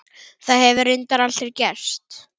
Það hefur reyndar aldrei gerst.